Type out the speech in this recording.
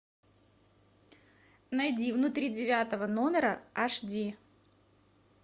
найди внутри девятого номера аш ди